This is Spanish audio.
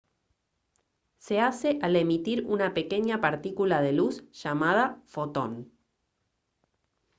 se hace al emitir una pequeña partícula de luz llamada «fotón»